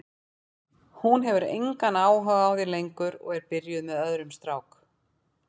Hún hefur engan áhuga á þér lengur og er byrjuð með öðrum strák.